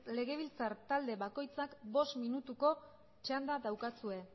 legebiltzar talde bakoitzak bost minutuko txanda daukazue